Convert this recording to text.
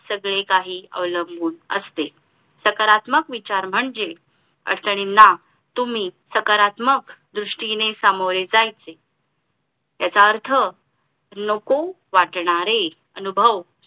सगळे काही अवलंबून असते सकारात्मक विचार म्हणजे अडचणींना तुम्ही सकारात्मक द्रुष्टीने सामोरे जायचे याचा अर्थ नको वाटणारे अनुभव